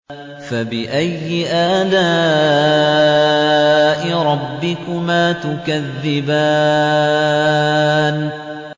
فَبِأَيِّ آلَاءِ رَبِّكُمَا تُكَذِّبَانِ